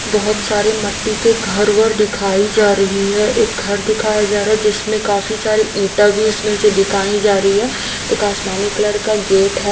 बहोत सारे मट्टी के घर वर दिखाई जा रही है एक घर दिखाया जा रहा है जिसमें काफी सारे इंटा भी उसमें से दिखाई जा रही है एक आसमानी कलर का गेट है।